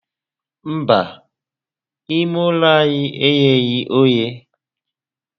Mba, ime ulo anyi egheghi oghe